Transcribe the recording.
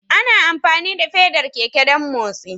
Ana amfani da fedar keke don motsi